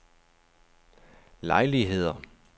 lejligheder